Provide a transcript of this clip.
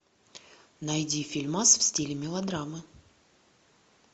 найди фильмас в стиле мелодрамы